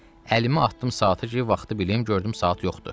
Əlimi atdım saata ki, vaxtı bilim, gördüm saat yoxdur.